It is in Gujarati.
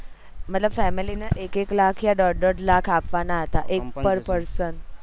મતલબ family ને એક એક લાખ ક દોઢ દોઢ લાખ આપવાના હતા એક per person